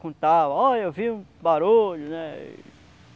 Contava, ó, eu ouvi um barulho, né?